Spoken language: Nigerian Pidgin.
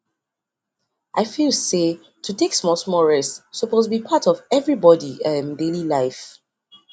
i feel say to take smallsmall rest suppose be part of everybody um daily life